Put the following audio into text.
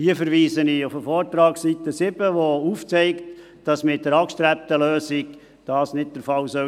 Hier verweise ich auf den Vortrag, Seite 7, wo aufgezeigt wird, dass dies mit der angestrebten Lösung nicht der Fall sein soll.